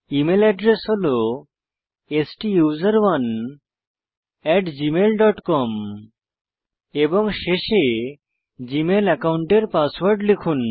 email address হল STUSERONEgmailcom এবং শেষে জীমেল অ্যাকাউন্টের পাসওয়ার্ড লিখুন